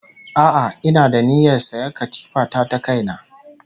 A'a ina da niyyar sayan katifa ta ta kaina